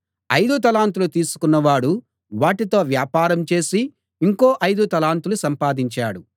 ఐదు తలాంతులు తీసుకున్న వాడు వాటితో వ్యాపారం చేసి ఇంకో ఐదు తలాంతులు సంపాదించాడు